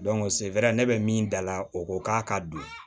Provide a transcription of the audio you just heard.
ne bɛ min da la o ko k'a ka don